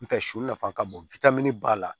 N tɛ su fana ka bon ba la